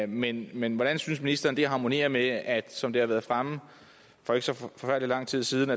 men men hvordan synes ministeren det harmonerer med at som det har været fremme for ikke så forfærdelig lang tid siden